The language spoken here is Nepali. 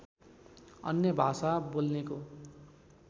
अन्य भाषा बोल्नेको